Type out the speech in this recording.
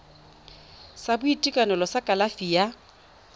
sa boitekanelo sa kalafi ya